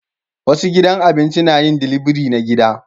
Wasu gidan abinci na yin dilibiri na gida